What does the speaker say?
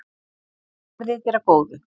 Verði þér að góðu.